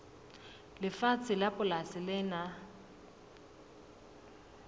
lefatshe la polasi le nang